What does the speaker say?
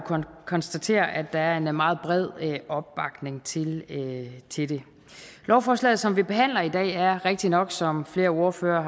konstatere at der er meget bred opbakning til til det lovforslaget som vi behandler i dag er rigtig nok som flere ordførere